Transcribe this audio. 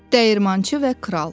Dəyirmançı və kral.